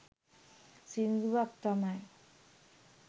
සිංදුවක් තමයි